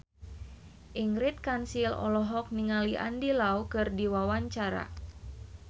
Ingrid Kansil olohok ningali Andy Lau keur diwawancara